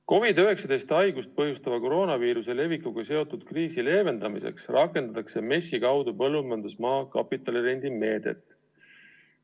COVID-19 haigust põhjustava koroonaviiruse levikuga seotud kriisi leevendamiseks rakendatakse MES-i kaudu põllumajandusmaa kapitalirendi meedet.